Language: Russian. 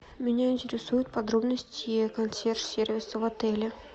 меня интересуют подробности консьерж сервиса в отеле